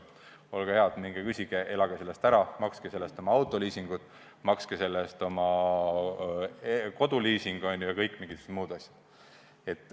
Olge head, minge proovige: elage sellest ära, makske sellest oma autoliisingud, makske sellest oma koduliising ja mingisugused muud asjad.